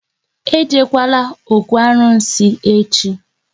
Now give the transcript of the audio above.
E jekwala ókwú arụsị echi!